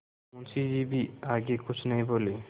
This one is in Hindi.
मुंशी जी भी आगे कुछ नहीं बोले